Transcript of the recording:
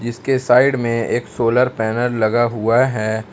इसके साइड में एक सोलर पैनल लगा हुआ है।